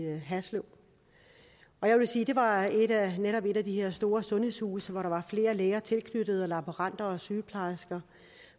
haslev det var netop et af de her store sundhedshuse hvor der var flere læger tilknyttet og laboranter og sygeplejersker